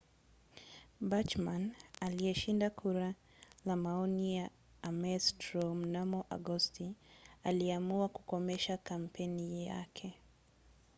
bachmann aliyeshinda kura ya maoni ya ames straw mnamo agosti aliamua kukomesha kampeni yake